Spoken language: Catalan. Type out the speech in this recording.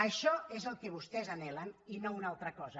això és el que vostès anhelen i no una altra cosa